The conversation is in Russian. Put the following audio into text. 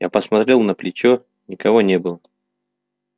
я посмотрел на плечо никого не было